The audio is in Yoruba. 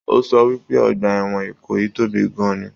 O sọ wípé ọgbà ẹwọn Ìkòyí tóbi gan-an ní.